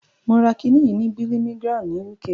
Mo ra kiní yìí ní Birmingham ni UK.